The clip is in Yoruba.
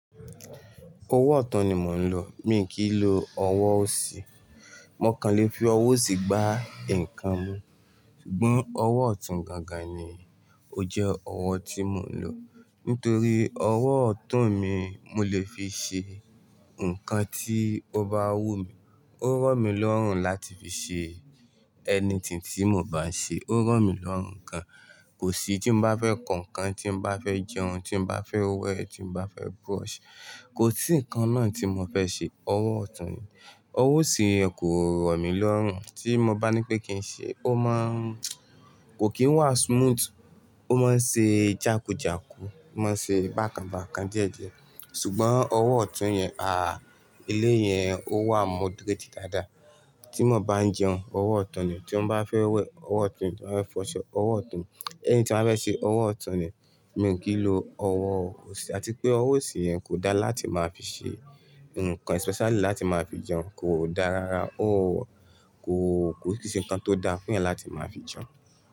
Owó ọ̀tún ni mò ń lò. Mi kì í lo owó òsì. Mo kàn lè fi owó òsì gba ǹkan mú. Ṣùgbọ́n owó ọ̀tún gangan ni ó jẹ́ owó tí mò ń lò. Nítorí owó ọ̀tún mi, mo lè fi ṣe ǹkan tí ó bá wù mí. Ó rọ̀ mí lọ́rùn láti fi ṣe ẹni tí tí mò bá ń ṣe. Ó rọ̀ mí lọ́rùn ǹkan. Kò sí tí mo bá fẹ́ kọ ǹkan, tí mo bá fẹ́ jẹun, tí mo bá fẹ́ wẹ̀, tí mo bá fẹ́ brush, kò sí ǹkan náà tí mo fẹ́ ṣe, owó ọ̀tún ni. Owó òsì kò rọ̀ mí lọ́rùn. Tí mo bá ní pé kí n ṣe, ó máa n-- kò kí n wá smooth. Ó máa ń ṣe jàkújàkú, ó máa ń ṣe bákanbákan díẹ̀díẹ̀. Ṣùgbọ́n owó ọ̀tún yẹn, àh! Ilé yẹn ó wà moderate dáadáa. Tí mo bá ń jẹun, owó ọ̀tún ni. Tí mo bá fẹ́ wẹ̀, owó ọ̀tún ni. Tí mo bá fẹ́ fọṣọ, owó ọ̀tún ni. Ẹni tí mo bá fẹ́ ṣe, owó ọ̀tún ni. Mi ò kí ń lo owó òsì. Àti pé owó òsì yẹn kò dá láti máa fi ṣe ǹkan especially láti máa fi jẹun. Kò dá rara. Ó kò, kò sí ǹkan tó dá fún yẹn láti máa fi jẹun.